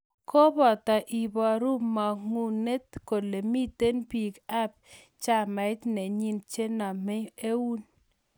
Kopate iparu mang'unet kole mitei piik ap chamait nenyi chemanam eun